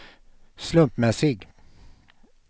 slumpmässig